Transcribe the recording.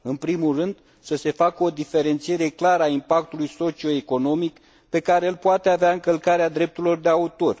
În primul rând, să se facă o diferențiere clară a impactului socio economic pe care îl poate avea încălcarea drepturilor de autor.